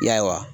Ya